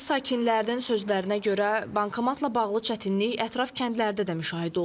Kənd sakinlərinin sözlərinə görə, bankomatla bağlı çətinlik ətraf kəndlərdə də müşahidə olunur.